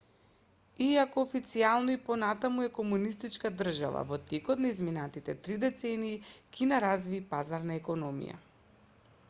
иако официјално и понатаму е комунистичка држава во текот на изминатите три децении кина разви пазарна економија